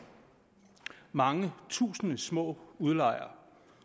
mange tusinde små udlejere